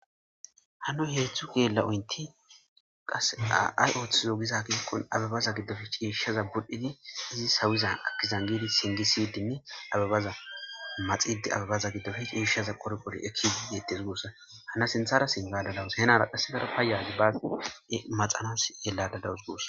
Hannin heedzdzu geela7oynttiqasseka ay oothizo giza gidikko abebaza giddoppe ciishshza midhidi abebaza sawoza singgi siyidinne abebaza maxiidde abebaza giddoppe ciishshaza qorishe deettes guussa hanna sinthara sinthara aadhada dawus henara qassi payyara maxaadda de7awus.